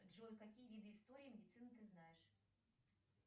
джой какие виды истории медицины ты знаешь